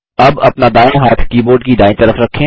अब अपना दायाँ हाथ कीबोर्ड की दायीं तरफ रखें